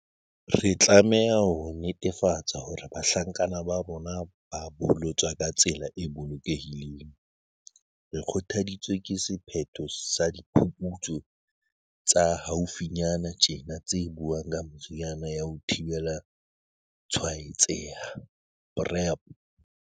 Re tlameha ho netefatsa hore bahlankana ba rona ba bolotswa ka tsela e bolokehileng. Re kgothaditswe ke sephetho sa diphuputsu tsa haufi nyana tjena tse buang ka meriana ya ho thibela tshwaetseha, PrEP.